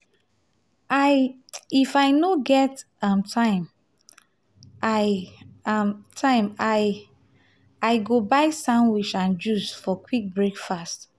if i no get um time i um time i um go buy sandwich and juice for quick breakfast.